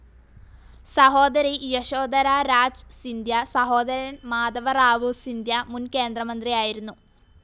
സഹോദരി യശോധരാ രാജ് സിന്ധ്യ, സഹോദരൻ മാധവറാവു സിന്ധ്യ മുൻ കേന്ദ്രമന്ത്രിയായിരുന്നു.